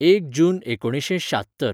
एक जून एकुणिशें श्यात्तर